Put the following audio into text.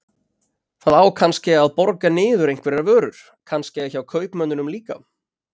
Það á kannske að borga niður einhverjar vörur, kannske hjá kaupmönnunum líka.